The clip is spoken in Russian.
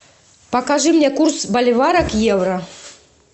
покажи мне курс боливара к евро